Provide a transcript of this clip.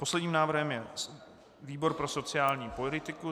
Posledním návrhem je výbor pro sociální politiku.